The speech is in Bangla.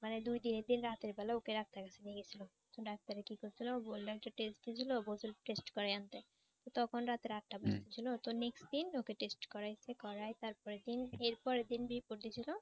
মানে দুই দিনের দিন রাত্রে বেলায় ওকে ডাক্তারের কাছে নিয়ে গিয়েছিল ডাক্তারে কি কইছিল বলল যে test দিছিল বলছিল test করাই আনতে তখন রাতে আটটা বাজছিল তো next দিন ওকে test করাই ছে করাই তারপরের দিন এরপরের দিন report দিয়েছিল